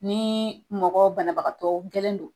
Ni mɔgɔ banabagatɔ gɛlɛn don